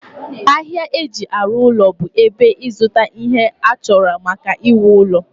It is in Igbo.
ahịa ihe eji arụ ụlọ bụ ebe ịzụta ihe achọrọ maka iwu ụlọ